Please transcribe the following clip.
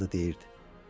arvadı deyirdi.